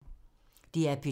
DR P2